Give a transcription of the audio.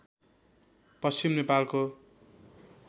पश्चिम नेपालको